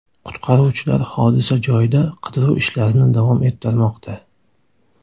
Qutqaruvchilar hodisa joyida qidiruv ishlarini davom ettirmoqda.